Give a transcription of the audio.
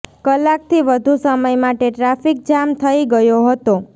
કલાકથી વધુ સમય માટે ટ્રાફિક જામ થઈ ગયો હતો